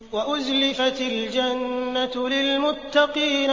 وَأُزْلِفَتِ الْجَنَّةُ لِلْمُتَّقِينَ